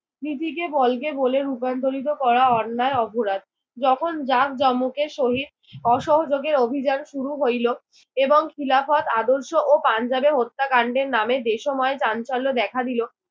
নীতিকে বলকে বলে রূপান্তর করা অন্যায় অপরাধ। যখন জাঁকজমকের সহিত অসহযোগের অভিযান শুরু হইল এবং খিলাফত আদর্শ ও পাঞ্জাবে হত্যাকান্ডের নামে দেশময় চাঞ্চল্য দেখা দিল।